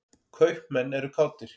Kaupmenn eru kátir.